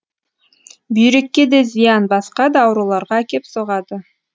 бүйрекке де зиян басқа да ауруларға әкеп соғады